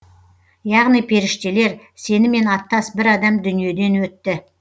яғни періштелер сенімен аттас бір адам дүниеден өтті